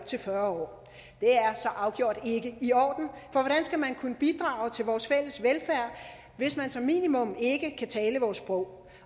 til fyrre år afgjort ikke i orden for skal man kunne bidrage til vores fælles velfærd hvis man som minimum ikke kan tale vores sprog